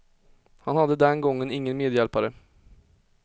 Han hade den gången ingen medhjälpare.